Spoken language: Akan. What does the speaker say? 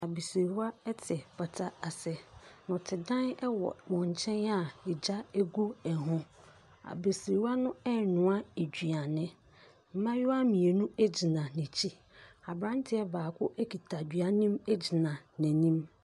Abasirwa te pata ase, nnɔtedan wɔ wɔn nkyɛn a gya gu ho. Abasirwa no ɛrenoa aduane, mmabaawa mmienu gyina akyire, aberanteɛ baako kita aduane gyina n’anim.